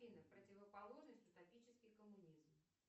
афина противоположность утопический коммунизм